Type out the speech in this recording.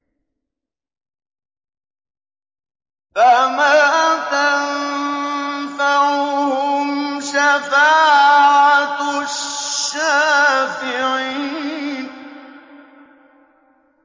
فَمَا تَنفَعُهُمْ شَفَاعَةُ الشَّافِعِينَ